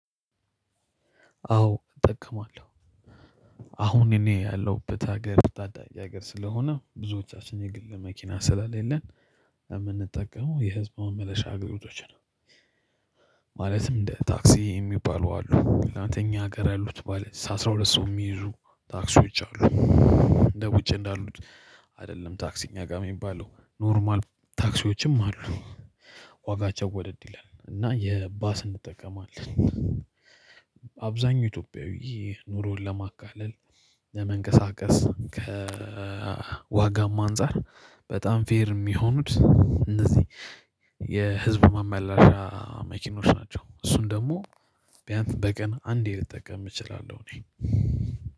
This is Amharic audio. አዎ እጠቀማለሁ አሁን እኔ ያለሁበት ሀገር ታዳጊ ሀገር ስለሆነ፤ ብዙዎቻችን የግል መኪና ስለሌለን የምንጠቀመው የህዝብ መመለሻ አገልግሎቶችን ነው። ማለትም እንደ ታክሲ የሚባሉ አሉ አንደኛ ሀገር ያሉት ማለት ነው አስራ ሁለት ሰው የሚይዙ ታክሲዎች አሉ እንደ ውጪ እንዳሉት አይደለም ታክሲ እኛ ጋር የሚባለው ኖርማል ታክሲዎችም አሉ ዋጋቸው ወደድ ይላል እና የባስ እንጠቀማለን ኢትዮጵያዊ ኑሮን ለማቃለል ለመንቀሳቀስ ከዋጋም አንፃር በጣም ፌር የሚሆኑት እነዚህ የህዝብ ማመላሻ ናቸው እሱን ደግሞ ቢያንስ በቀን አንዴ ልጠቀም እችላለሁ እኔ